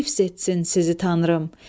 Hifz etsin sizi Tanrım.